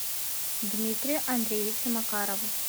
дмитрию андреевичу макарову